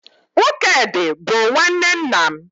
Nwokedị bụ nwanne nna m